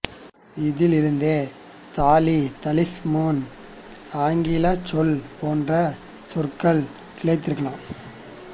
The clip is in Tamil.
இதில் இருந்தே தாலி தாலிஸ்மேன் ஆங்கிலச் சொல் போன்ற சொற்கள் கிளைத்திருக்கலாம்